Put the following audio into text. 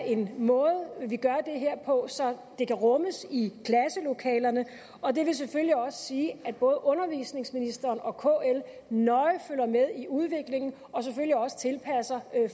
en måde vi gør det her på så det kan rummes i klasselokalerne og det vil selvfølgelig også sige at både undervisningsministeren og kl nøje følger med i udviklingen og selvfølgelig også tilpasser